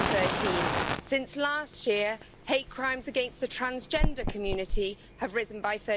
2013. Since last year, hate crimes against the transgender community have risen by